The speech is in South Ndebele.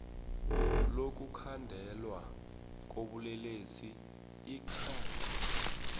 lokukhandelwa kobulelesi icrime